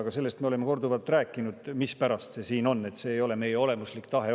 Aga sellest me oleme korduvalt rääkinud, mispärast see siin on, see ei olnud algselt meie olemuslik tahe.